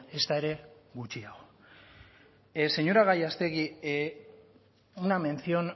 ezta ere gutxiago señora gallástegui una mención